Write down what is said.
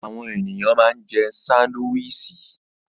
Àwọn ènìyàn ma ń jẹ́ sándíwìsì